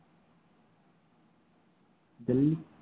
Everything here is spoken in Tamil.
டெல்லி